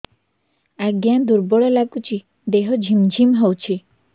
ଆଜ୍ଞା ଦୁର୍ବଳ ଲାଗୁଚି ଦେହ ଝିମଝିମ ହଉଛି